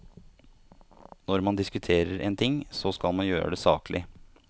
Når man diskuterer en ting, så skal man gjøre det saklig.